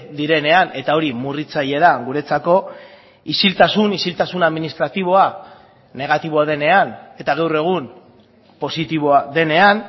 direnean eta hori murritzaile da guretzako isiltasun isiltasun administratiboa negatiboa denean eta gaur egun positiboa denean